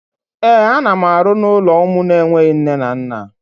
Ee, ana m arụ n'ụlọ ụmụ enweghi nne na nna